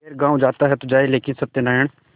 खैर गॉँव जाता है तो जाए लेकिन सत्यनारायण